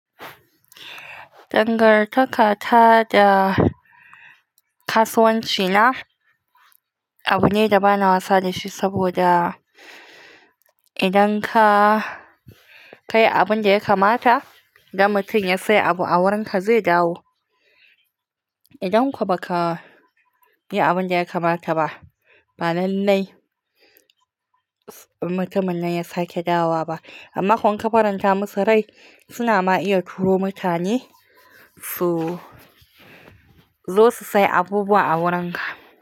Dangantaka ta da kasuwanci na abu ne da bana wasa da shi saboda idan ka yi abin da ya kamata, idan mutum ya sayi abu a wurinka zai dawo. Idan kuwa ba ka yi abin da ya kamata ba, ba lallai mutumin nan ya sake dawo ba. Amma kuwa inka faranta musu rai suna ma iya turo mutane su zo su sayi abubuwa a wurinka.